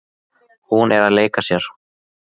Hún er að leika sér.